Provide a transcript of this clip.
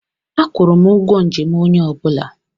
Akwụrụ m ụgwọ njem onye ọ bụla.